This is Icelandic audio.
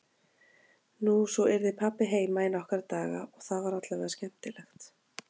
Nú, svo yrði pabbi heima í nokkra daga og það var allavega skemmtilegt.